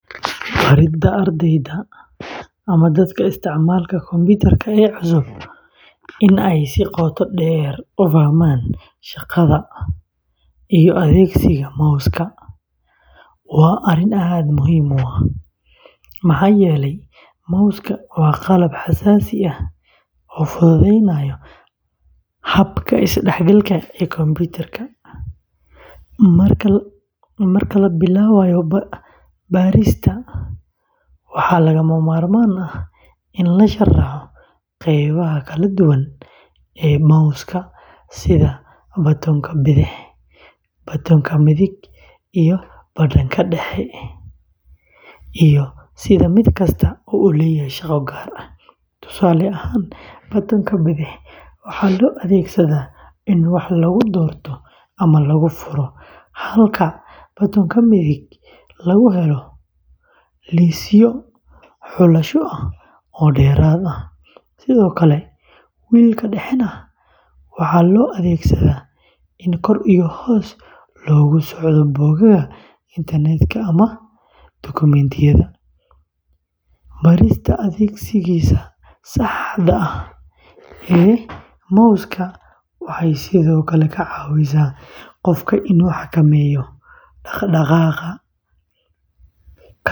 Baridda ardayda ama dadka isticmaala kombiyuutarka ee cusub in ay si qoto dheer u fahmaan shaqada iyo adeegsiga mouska waa arrin aad muhiim u ah, maxaa yeelay mousku waa qalab xasaasi ah oo fududeynaya habka isdhexgalka ee kombiyuutarka. Marka la bilaabayo barista, waxaa lagama maarmaan ah in la sharxo qeybaha kala duwan ee mouska sida batoonka bidix, batoonka midig, iyo badhanka dhexe, iyo sida mid kasta u leeyahay shaqo gaar ah. Tusaale ahaan, batoonka bidix waxaa loo adeegsadaa in wax lagu doorto ama lagu furo, halka batoonka midig lagu helo liisyo xulasho ah oo dheeraad ah. Sidoo kale, wheel-ka dhexe waxaa loo adeegsadaa in kor iyo hoos loogu socdo bogagga internetka ama dukumiintiyada. Barista adeegsiga saxda ah ee mouska waxay sidoo kale ka caawisaa qofka inuu xakameeyo dhaqdhaqaaqa.